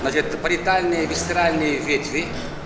значит париетальные и висцеральные ветви